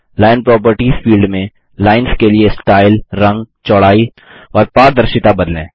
line properties field में lines के लिए स्टाइल रंग चौड़ाई और पारदर्शिता बदलें